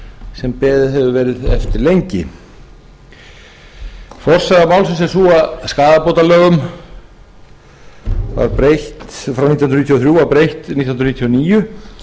sem beðið hefur verið eftir lengi forsaga málsins er sú að skaðabótalögum frá nítján hundruð níutíu og þrjú var breytt nítján hundruð níutíu og níu